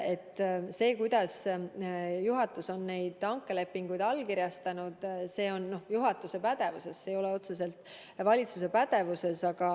See, kuidas juhatus on neid hankelepinguid allkirjastanud, on juhatuse pädevuses, see ei ole otseselt valitsuse pädevuses.